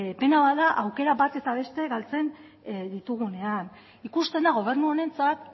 pena bat da aukera bat eta beste ditugunean ikusten da gobernu honentzat